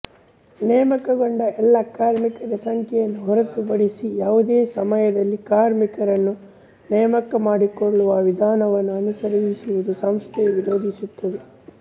ನೇಮಕಗೊಂಡ ಎಲ್ಲ ಕಾರ್ಮಿಕರ ಸಂಖ್ಯೆಯನ್ನು ಹೊರತುಪಡಿಸಿ ಯಾವುದೋ ಸಮಯದಲ್ಲಿ ಕಾರ್ಮಿಕರನ್ನು ನೇಮಕಮಾಡಿಕೊಳ್ಳುವ ವಿಧಾನವನ್ನು ಅನುಸರಿಸುವುದನ್ನು ಸಂಸ್ಥೆಯು ವಿರೋಧಿಸುತ್ತದೆ